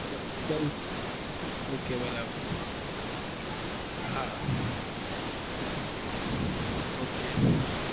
હું બઉ okay બરાબર હા okay